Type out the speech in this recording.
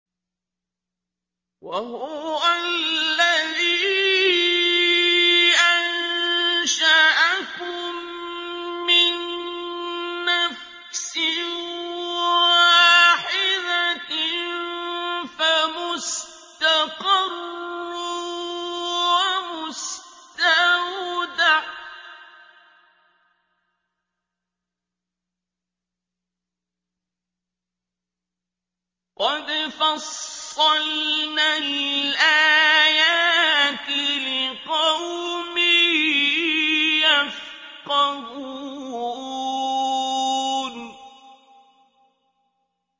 وَهُوَ الَّذِي أَنشَأَكُم مِّن نَّفْسٍ وَاحِدَةٍ فَمُسْتَقَرٌّ وَمُسْتَوْدَعٌ ۗ قَدْ فَصَّلْنَا الْآيَاتِ لِقَوْمٍ يَفْقَهُونَ